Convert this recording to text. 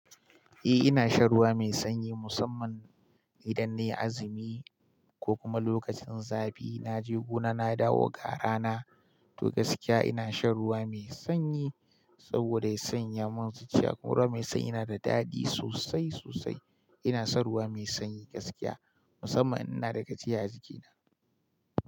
Eh ina shan ruwa mai sanyi musamman idan nayi azumi ko kuma lokacin zafi naje gona na dawo ga rana to gaskiya ina shan ruwa mai sanyi saboda ya sanya mun zuciya kuma ruwa mai sanyi yana da daɗi sosai sosai. Ina son ruwa mai sanyi gaskiya, musamman in ina da gajiya a jikina.